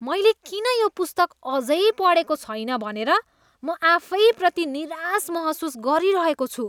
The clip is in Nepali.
मैले किन यो पुस्तक अझै पढेको छैन भनेर म आफैप्रति निराश महसुस गरिरहेको छु।